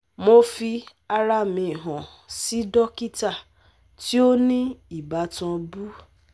Mo fi ara mi han si dokita ti o ni ibatan bu